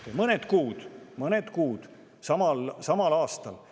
mõned kuud enne valimisi, samal aastal.